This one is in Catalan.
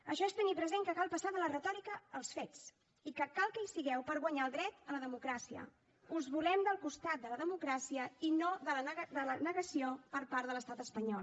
això és tenir present que cal passar de la retòrica als fets i que cal que hi sigueu per guanyar el dret a la democràcia us volem al costat de la democràcia i no al de la negació per part de l’estat espanyol